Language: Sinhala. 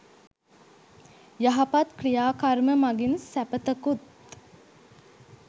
යහපත් ක්‍රියා කර්ම මඟින් සැපතකුත්